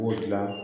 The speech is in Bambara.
B'o de gilan